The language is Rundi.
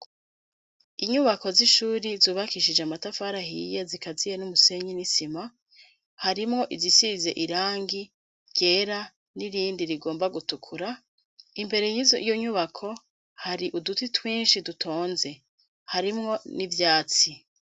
Inyubako z'ishuri zubakishije amatafari ahiye zikaziye n'umusenyi n'isima, harimwo izisize irangi ryera n'irindi rigomba gutukura; imbere y'izo nyubako hari uduti twinshi dutonze, harimwo n'ivyatsi.